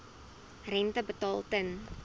rente betaal ten